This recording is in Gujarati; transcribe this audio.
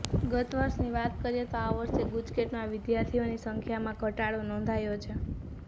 ગત વર્ષની વાત કરીએ તો આ વર્ષે ગુજકેટમાં વિદ્યાર્થીઓની સંખ્યામાં ઘટાડો નોંધાયો છે